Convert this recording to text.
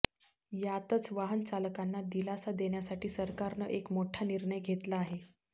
यातच वाहनचालकांना दिलासा देण्यासाठी सरकारनं एक मोठा निर्णय घेतला आहे